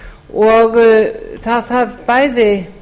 og það þarf bæði